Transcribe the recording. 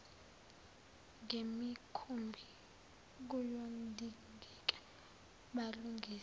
ngemikhumbi kuyodingeka balungise